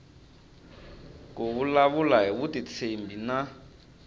ku vulavula hi vutitshembi na